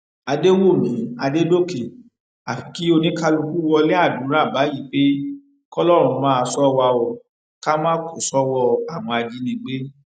àdẹwùmí àdẹdọkẹ àfi kí oníkálùkù wọlé àdúrà báyìí pé kọlọrun máa ṣọ wa o ká má kó sọwọ àwọn ajínigbé